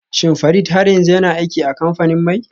Shin Farid har yanzu yana aiki a kamfanin mai?